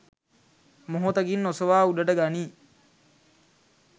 මොහොතකින් ඔසවා උඩට ගනියි.